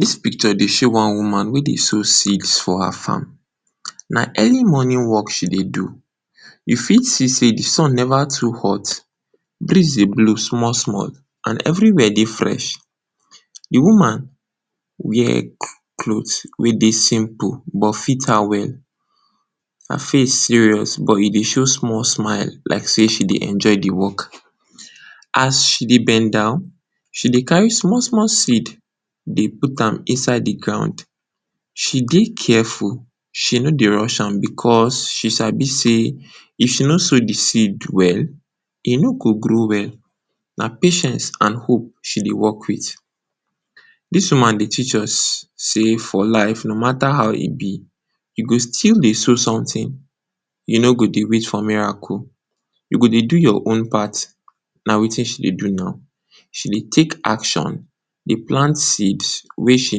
Dis picture dey show one-woman wey dey sow seeds for her farm. Na early morning work she dey do, you fit see sey de sun never too hot, breeze dey blow small-small and everywhere dey fresh. De wear cloth wey dey simple but fit am well, her face dey serious but e dey show small smile like sey she dey enjoy de work. As she dey bend down, she dey carry small-small seed dey put am inside de ground. She dey careful, she no dey rush am because, she sabi sey if she no sow de seed well, e no go grow well. Na patience and hope she dey work with. Dis woman dey teach us sey for life, no matter how e be, you go still dey sow something, you no go dey wait for miracle. You go dey do your own part na wetin she dey do now. She dey take action, dey plant seed wey she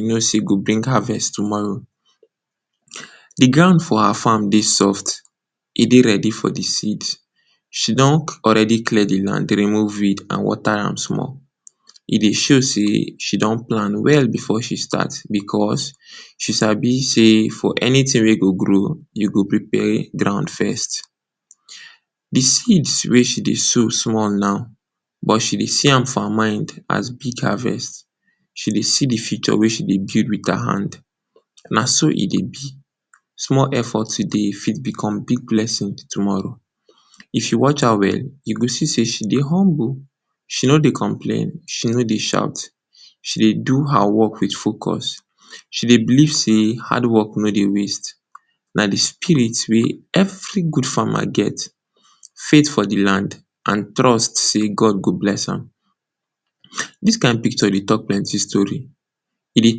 knows sey go bring harvest tomorrow. De ground for her farm dey soft, e dey ready for de. She don already clear de land remove weed and water am small. E dey show sey she don plan well before she start because, she sabi sey for anything wey go grow you go prepare ground first. De seeds wey she dey sow small now, but she dey see am for her mind as big harvest. She dey see de future wey she dey build with her hand. Na so e dey be, small effort today fit become big blessing tomorrow. If you watch her well, you go see sey she dey humble, no dey complain, she no dey shout. She dey do her work with focus, she dey believe sey hard work no dey waste. Na de belief every good farmer get, faith for de land and trust sey God go bless am. Dis kind picture dey talk plenty story, e dey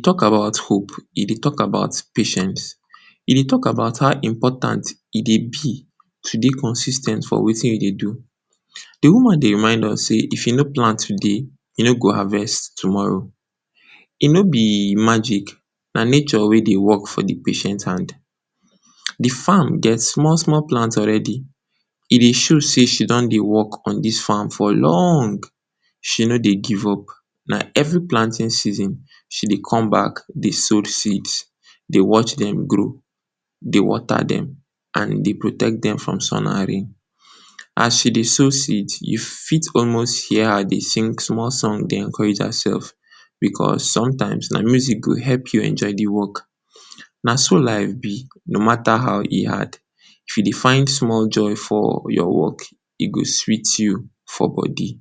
talk about hope, e dey talk about patience, e dey talk about how important e dey be to dey consis ten t for wetin you dey do. De woman dey remind us sey if you no plant today, you no go harvest tomorrow. E no be magic na patient wey e dey work for de hand. De farm get small-small plant already, e dey show sey she don dey work on dis farm for long. She no dey give up, na every planting season she dey come back dey sow seeds, dey watch dem grow, dey water dem and dey protect dem from sun array. As she dey sow seeds, you fit almost hear her dey sing small song dey encourage herself because, sometimes na music go help you enjoy de work. Na so life be, no matter how e hard if you dey find small joy for your work e go dey sweet you for body.